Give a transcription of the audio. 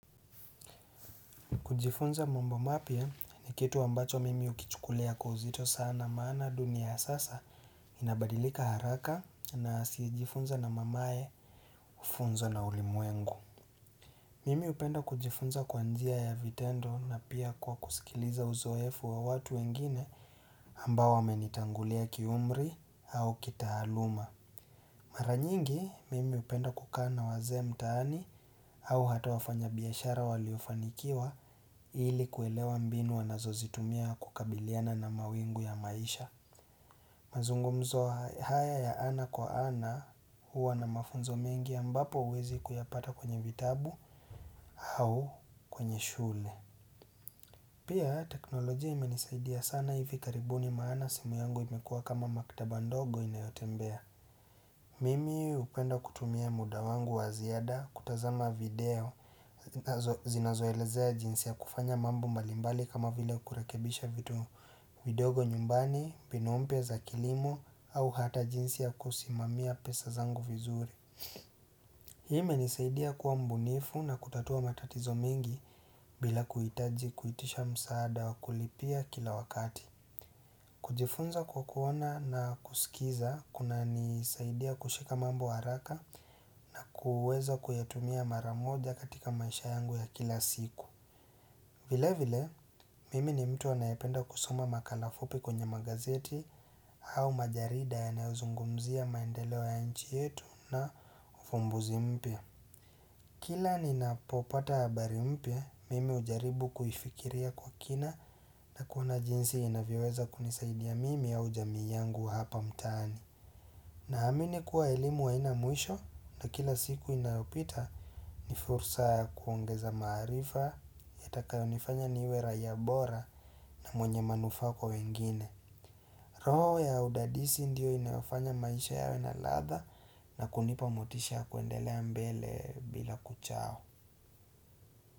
Kujifunza mambo mapya ni kitu ambacho mimi hukichukulia kwa uzito sana maana dunia ya sasa inabadilika haraka na asiyejifunza na mamae kufunzwa na ulimwengu. Mimi hupenda kujifunza kwa njia ya vitendo na pia kwa kusikiliza uzoefu wa watu wengine ambao wamenitangulia kiumri au kitaaluma. Mara nyingi mimi hupenda kukaa na wazee mtaani au hata wafanya biashara waliofanikiwa ili kuelewa mbinu wanazo zitumia kukabiliana na mawingu ya maisha mazungumzo haya ya ana kwa ana huwa na mafunzo mengi ambapo huwezi kuyapata kwenye vitabu au kwenye shule Pia teknolojia imenisaidia sana hivi karibuni maana simu yangu imekua kama maktaba ndogo inayotembea Mimi hupenda kutumia muda wangu wa ziada kutazama video zinazoelezea jinsi ya kufanya mambo mbali mbali kama vile kurekebisha vitu vidogo nyumbani, mbinu mpya za kilimo au hata jinsi ya kusimamia pesa zangu vizuri Hii imenisaidia kuwa mbunifu na kutatua matatizo mengi bila kuhitaji kuitisha msaada wa kulipia kila wakati kujifunza kwa kuona na kusikiza kunanisaidia kushika mambo haraka kuweza kuyatumia mara moja katika maisha yangu ya kila siku vile vile mimi ni mtu anayependa kusoma makala fupi kwenye magazeti au majarida yanayozungumzia maendeleo ya nchi yetu na ufumbuzi mpya Kila ninapopata habari mpya, mimi hujaribu kuifikiria kwa kina na kuona jinsi inavyoweza kunisaidia mimi ya jamii yangu hapa mtaani. Naamini kuwa elimu haina mwisho na kila siku inayopita ni fursa ya kuongeza maarifa yatakayo nifanya niwe raia bora na mwenye manufaa kwa wengine. Roho ya udadisi ndio inayofanya maisha yawe na latha na kunipa motisha kuendelea mbele bila kuchao.